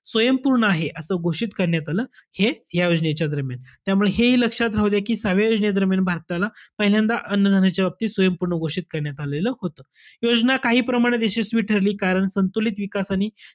स्वयंपूर्ण आहे असं घोषित करण्यात आलं. हेच या योजनेच्या दरम्यान. त्यामुळे हेही लक्षात राहू द्या कि सहाव्या योजनेदरम्यान भारताला पहिल्यांदा अन्न-धान्याच्या बाबतीत स्वयंपूर्ण घोषित करण्यात आलेलं होतं. योजना काही प्रमाणात यशस्वी ठरली कारण संतुलित विकास आणि